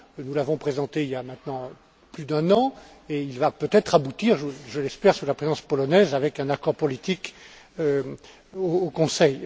Nous l'avons présenté il y a maintenant plus d'un an et il va peut être aboutir, je l'espère, sous la présidence polonaise, avec un accord politique au Conseil.